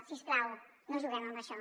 si us plau no juguem amb això